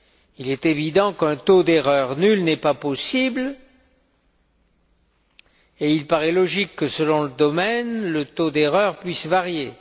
Il est évident qu'un taux d'erreur nul n'est pas possible et il paraît logique que, selon le domaine, le taux d'erreur puisse varier.